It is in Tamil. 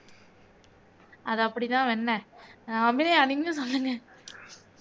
அது அப்படிதான் வெண்ணெய் அபிநயா நீங்க சொல்லுங்க